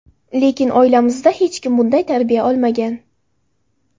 Lekin oilamizda hech kim bunday tarbiya olmagan.